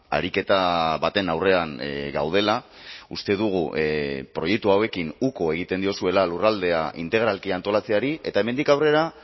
ariketa baten aurrean gaudela uste dugu proiektu hauekin uko egiten diozuela lurraldea integralki antolatzeari eta hemendik aurrera